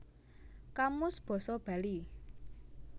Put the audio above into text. Kamus Basa Bali